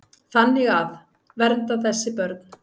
Þannig að. vernda þessi börn.